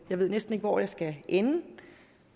ved næsten ikke hvor jeg skal ende